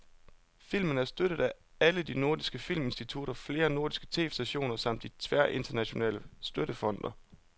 Filmen er støttet af alle de nordiske filminstitutter, flere nordiske tv-stationer samt de tværnationale støttefonde.